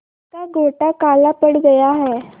जिसका गोटा काला पड़ गया है